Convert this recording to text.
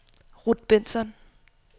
Ruth Bengtsson